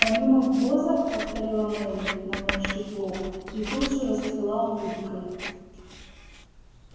помимо ввоза повторила мелли наморщив лоб и тут же расцвела улыбкой